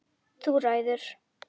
Þú ræður!